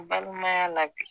balimaya la bi